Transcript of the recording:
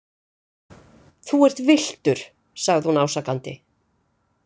Þú ert villtur, sagði hún ásakandi.